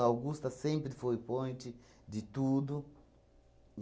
Augusta sempre foi point de tudo.